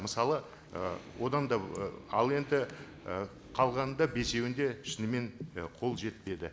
мысалы і одан да і ал енді і қалғаны да бесеуінде шынымен і қол жетпеді